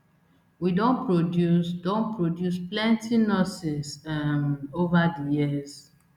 we don produce don produce plenty nurses um ova di years